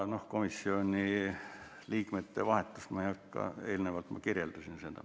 Komisjoni liikmete vahetust ma ei hakka kirjeldama, eelnevalt ma seda kirjeldasin.